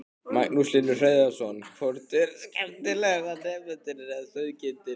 Magnús Hlynur Hreiðarsson: Hvort er skemmtilegra, nemendurnir eða sauðkindin?